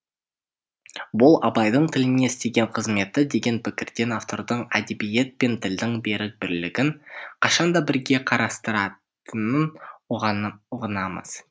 бұл абайдың тіліне істеген қызметі деген пікірден автордың әдебиет пен тілдің берік бірлігін қашан да бірге қарастыратынын ұғынамыз